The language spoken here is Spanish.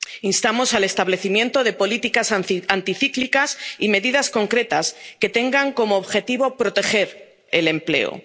fiscal. Instamos al establecimiento de políticas anticíclicas y medidas concretas que tengan como objetivo proteger el